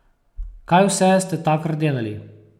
Kaj vse ste takrat delali?